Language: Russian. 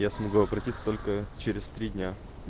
я смогу обратиться только через три дня